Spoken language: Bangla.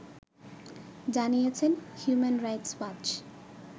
জানিয়েছে হিউম্যান রাইটস ওয়াচ